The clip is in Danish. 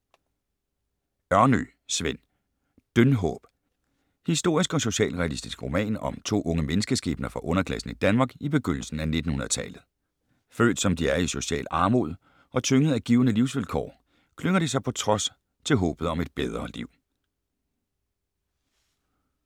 Ørnø, Sven: Dyndhåb Historisk og socialrealistisk roman om to unge menneskeskæbner fra underklassen i Danmark i begyndelsen af 1900-tallet. Født som de er i social armod, og tyngede af givne livsvilkår, klynger de sig på trods til håbet om et bedre liv. E-bog 713039 2013.